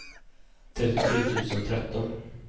trettiotre tusen tretton